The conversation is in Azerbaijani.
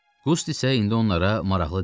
Qust isə indi onlara maraqlı deyildi.